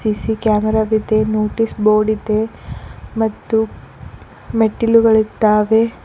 C C camera ವಿದೆ notice board ಇದೆ ಮತ್ತು ಮೆಟ್ಟಿಲುಗಳಿದ್ದಾವೆ.